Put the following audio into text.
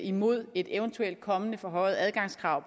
imod et eventuelt kommende forhøjet adgangskrav